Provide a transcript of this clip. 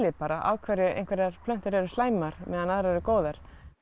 af hverju einhverjar plöntur eru slæmar á meðan aðrar eru góðar